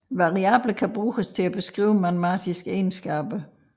Variable kan bruges til at beskrive matematiske egenskaber